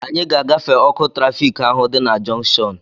Anyị ga-agafe ọkụ trafịk ahụ dị na junkshọnu